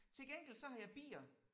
Til gengæld så har jeg bier